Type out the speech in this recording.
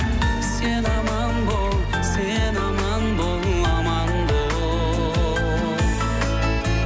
сен аман бол сен аман бол аман бол